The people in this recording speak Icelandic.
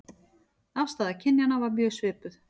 Afstaða kynjanna var mjög svipuð